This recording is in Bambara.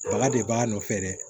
Baga de b'a nɔfɛ dɛ